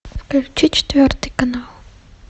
включи четвертый канал